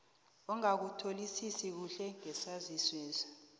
ongakutholisisi kuhle ngesaziswesi